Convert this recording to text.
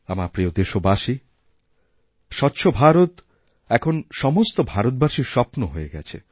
আমার প্রিয় দেশবাসী স্বচ্ছ ভারত এখন সমস্ত ভারতবাসীরস্বপ্ন হয়ে গেছে